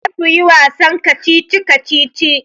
Za su yi wasan kacici-kacici.